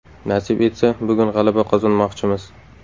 Nasib etsa, bugun g‘alaba qozonmoqchimiz.